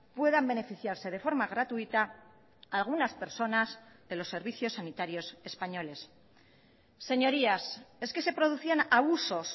puedan beneficiarse de forma gratuita algunas personas de los servicios sanitarios españoles señorías es que se producían abusos